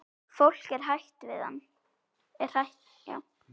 Fólkið er hrætt við hann.